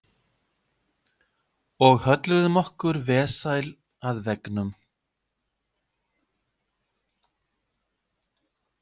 Og hölluðum okkur vesæl að veggnum.